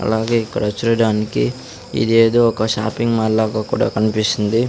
అలాగే ఇక్కడ చూడడానికి ఇదేదో ఒక షాపింగ్ మాల్ లాగా కూడా కన్పిస్తుంది.